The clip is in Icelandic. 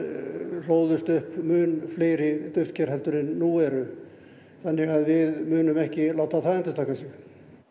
hlóðust upp mun fleiri duftker heldur en nú eru þannig að við munum ekki láta það endurtaka sig